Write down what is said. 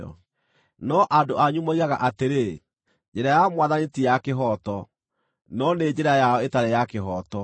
“No andũ anyu moigaga atĩrĩ, ‘Njĩra ya Mwathani ti ya kĩhooto.’ No nĩ njĩra yao ĩtarĩ ya kĩhooto.